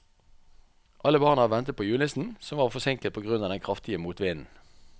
Alle barna ventet på julenissen, som var forsinket på grunn av den kraftige motvinden.